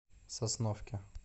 сосновке